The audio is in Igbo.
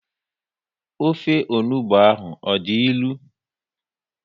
Ofe onugbu ahụ ọ dị ilu?